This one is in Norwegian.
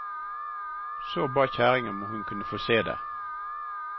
Så ba kjerringa om hun kunne få se det.